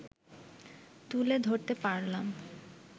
তুলে ধরতে পারলাম